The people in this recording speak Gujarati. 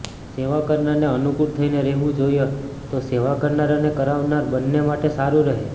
સેવા કરનારને અનુકુળ થઈને રહેવું જોઈએ તો સેવા કરનાર અને કરાવનાર બંને માટે સારું રહે